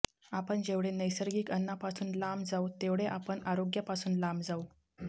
आपण जेवढे नैसर्गिक अन्नापासून लांब जाऊ तेवढे आपण आरोग्यापासून लांब जाऊ